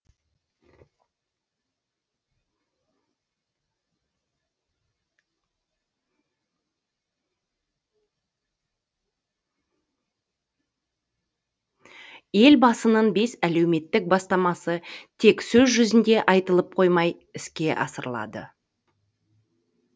елбасының бес әлеуметтік бастамасы тек сөз жүзінде айтылып қоймай іске асырылады